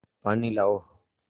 पानी लाओ